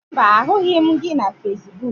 Mba, ahụghị m gị na Fesbuk